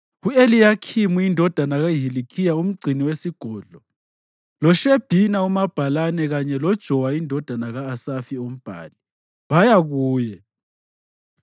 u-Eliyakhimu indodana kaHilikhiya umgcini wesigodlo, loShebhina umabhalane kanye loJowa indodana ka-Asafi umbhali, baya kuye.